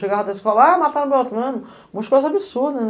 Chegava da escola, a mataram outro fulano.